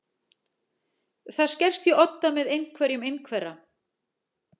Það skerst í odda með einhverjum einhverra